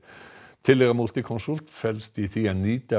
tillaga Multiconsult felst í því að nýta